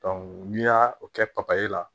n'i y'a o kɛ papayi la